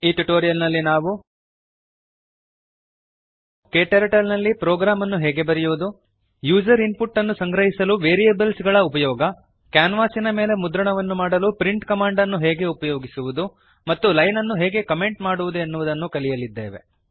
ಈ ಟ್ಯುಟೋರಿಯಲ್ ನಲ್ಲಿ ನಾವು ಕ್ಟರ್ಟಲ್ ನಲ್ಲಿ ಪ್ರೋಗ್ರಾಮ್ ಅನ್ನು ಹೇಗೆ ಬರೆಯುವುದು ಯೂಸರ್ ಇನ್ ಪುಟ್ ಅನ್ನು ಸಂಗ್ರಹಿಸಲು ವೇರಿಯೇಬಲ್ಸ್ ಗಳ ಉಪಯೋಗ ಕ್ಯಾನ್ವಾಸಿನ ಮೇಲೆ ಮುದ್ರಣವನ್ನು ಮಾಡಲು ಪ್ರಿಂಟ್ ಕಮಾಂಡ್ ಅನ್ನು ಹೇಗೆ ಉಪಯೋಗಿಸುವುದು ಮತ್ತು ಲೈನ್ ಅನ್ನು ಹೇಗೆ ಕಮೆಂಟ್ ಮಾಡುವುದು ಎನ್ನುವುದನ್ನು ಕಲಿಯಲಿದ್ದೇವೆ